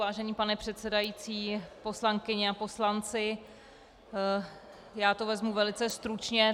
Vážený pane předsedající, poslankyně a poslanci, já to vezmu velice stručně.